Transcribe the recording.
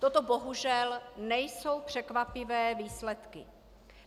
Toto bohužel nejsou překvapivé výsledky.